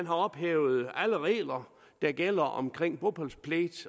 har ophævet alle regler der gælder omkring bopælspligt